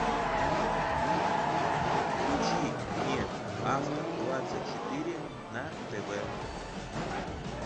включи мне авто двадцать четыре на тв